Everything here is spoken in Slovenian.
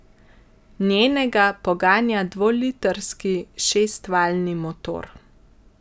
Njenega poganja dvolitrski šestvaljni motor.